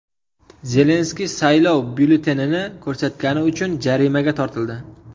Zelenskiy saylov byulletenini ko‘rsatgani uchun jarimaga tortildi.